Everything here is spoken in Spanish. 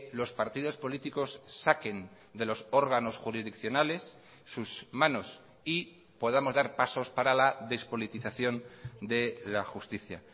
los partidos políticos saquen de los órganos jurisdiccionales sus manos y podamos dar pasos para la despolitización de la justicia